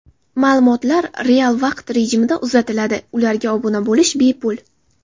Ma’lumotlar real vaqt rejimida uzatiladi, ularga obuna bo‘lish bepul.